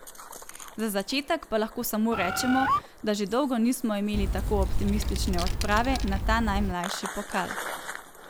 Za začetek pa lahko samo rečemo, da že dolgo nismo imeli tako optimistične odprave na ta najmlajši pokal.